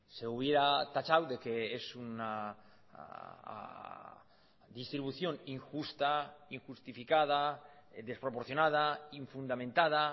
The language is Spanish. se hubiera tachado de que es una distribución injusta injustificada desproporcionada infundamentada